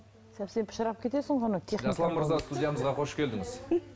совсем кетесің ғой оны